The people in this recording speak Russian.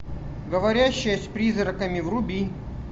говорящая с призраками вруби